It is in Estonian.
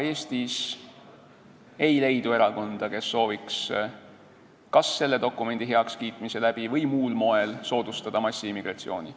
Eestis ei leidu erakonda, kes sooviks kas selle dokumendi heakskiitmise teel või muul moel soodustada massiimmigratsiooni.